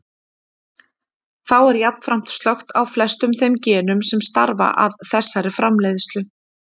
Þá er jafnframt slökkt á flestum þeim genum sem starfa að þessari framleiðslu.